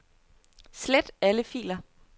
Slet alle filer.